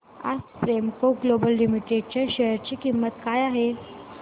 आज Premco Global Limited च्या share ची किंमत काय आहे